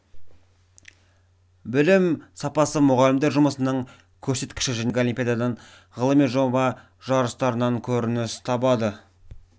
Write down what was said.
білім сапасы мұғалімдер жұмысының көрсеткіші және мұның бәрі пәндік олимпиададан ғылыми жоба жарыстарынан көрініс табады